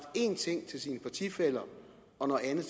én ting til sine partifæller og noget andet